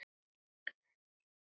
Þaðan kemur heitið.